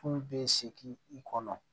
Tulu bɛ segin i kɔnɔ